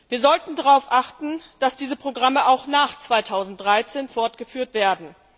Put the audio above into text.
Wir sollten darauf achten, dass diese Programme auch nach 2013 fortgeführt werden.